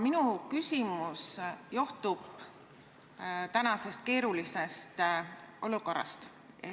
Minu küsimus johtub praegusest keerulisest olukorrast ...